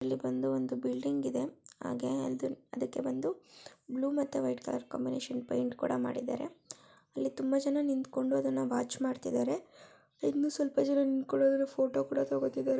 ಇಲ್ಲಿ ಒಂದು ಬಿಲ್ಡಿಂಗ್ ಇದೆ ಅದಕ್ಕೆ ಬಂದು ಬ್ಲೂ ಮತ್ತೆ ವೈಟ್ ಕಲರ್ ಕಾಂಬಿನೇಶನ್ ಪೈಂಟ್ ಕೂಡ ಮಾಡಿದ್ದಾರೆ ಇಲ್ಲಿ ತುಂಬಾ ಜನ ನಿಂತ್ಕೊಂಡು ಅದನ್ನು ವಾಚ್ ಮಾಡ್ತಾ ಇದ್ದಾರೆ ಇನ್ನೂ ಒಂದು ಸ್ವಲ್ಪ ಜನ ನಿಂತುಕೊಂಡು ಅದರ ಫೋಟೋವನ್ನು ತೊಕೊತ್ತಿದ್ದಾರೆ.